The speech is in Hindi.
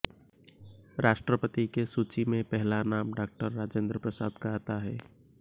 राष्ट्रपति के सूचि में पहला नाम डॉ राजेन्द्र प्रसाद का आता है